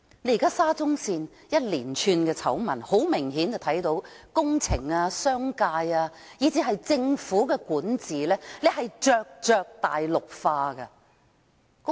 現在沙中線爆發一連串的醜聞，很明顯看到工程界、商界，以至政府的管治正在大陸化。